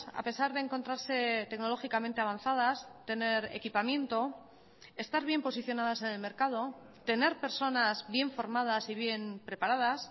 a pesar de encontrarse tecnológicamente avanzadas tener equipamiento estar bien posicionadas en el mercado tener personas bien formadas y bien preparadas